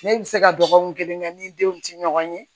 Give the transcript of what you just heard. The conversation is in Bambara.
Ne bɛ se ka dɔgɔkun kelen kɛ ni denw tɛ ɲɔgɔn ye